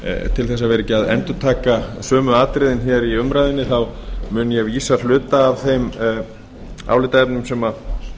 til þess að vera ekki að endurtaka sömu atriðin hér í umræðunni þá mun ég vísa hluta af þeim álitaefnum